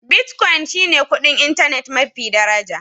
Bitcoin shi ne kuɗin intanet mafi daraja.